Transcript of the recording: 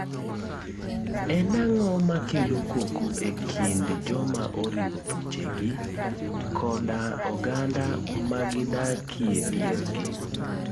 En ang'o makelo koko e kind joma oringo thuche gi koda oganda magi dakie dier gi.